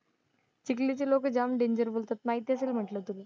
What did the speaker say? चिखलीचे लोकं जाम डेंजर बोलतात माहिती असेल म्हंटलं तुला.